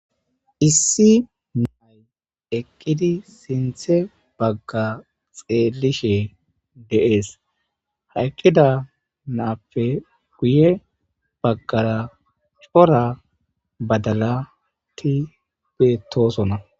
issi naay eqqidi sinthe bagga xeelishe deees hayqqida naappe guye baggara cora badala ti betoosona